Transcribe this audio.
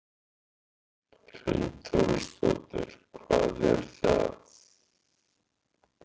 Hrund Þórsdóttir: Hvað er það?